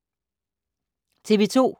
TV 2